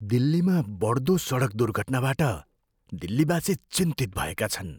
दिल्लीमा बढ्दो सडक दुर्घटनाबाट दिल्लीवासी चिन्तित भएका छन्।